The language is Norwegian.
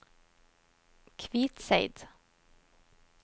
Kvitseid